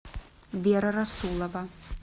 вера расулова